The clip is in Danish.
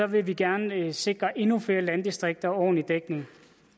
vil vi gerne sikre endnu flere landdistrikter ordentlig dækning